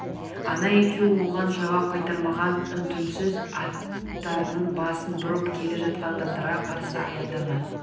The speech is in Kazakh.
ана екеуі оған жауап қайтармаған үн-түнсіз аттарының басын бұрып келе жатқан адамдарға қарсы аяңдаған